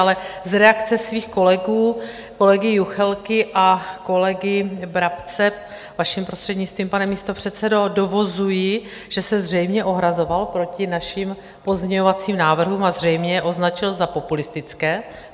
Ale z reakce svých kolegů, kolegy Juchelky a kolegy Brabce, vaším prostřednictvím, pane místopředsedo, dovozuji, že se zřejmě ohrazoval proti našim pozměňovacím návrhům a zřejmě je označil za populistické.